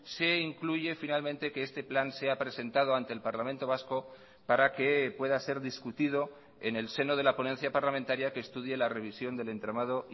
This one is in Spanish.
se incluye finalmente que este plan sea presentado ante el parlamento vasco para que pueda ser discutido en el seno de la ponencia parlamentaria que estudie la revisión del entramado